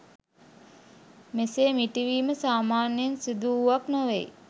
මෙසේ මිටි වීම සාමාන්‍යයෙන් සිදුවූවක් නොවෙයි